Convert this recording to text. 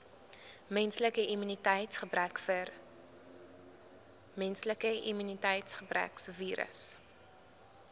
menslike immuniteitsgebrekvirus